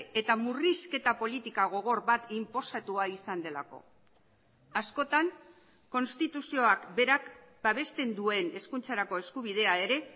eta murrizketa politika gogor bat inposatua izan delako askotan konstituzioak berak babesten duen hezkuntzarako eskubidea ere